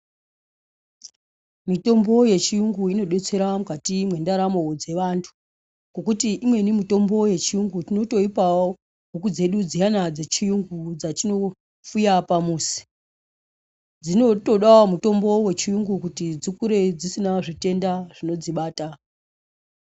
Mitombo yechiyungu inodetsera mukati mwendaramo dzeantu ngokuti imweni mitombo yechiyungu totoipiwa ngaantu totoipawo huku dzedu dziyana dzechiyungu dzatinofuya pamuzi dzinotodawo mutombo wechiyungu kuti dzikure dzisina zvitenda zvinodzibata.